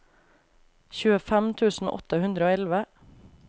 tjuefem tusen åtte hundre og elleve